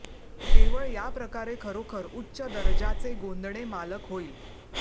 केवळ या प्रकारे खरोखर उच्च दर्जाचे गोंदणे मालक होईल